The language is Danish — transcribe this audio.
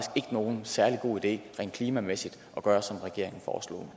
nogen særlig god idé rent klimamæssigt at gøre som regeringen foreslår